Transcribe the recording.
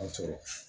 An sɔrɔ